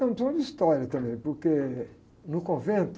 Então, tem muita história também, porque no convento,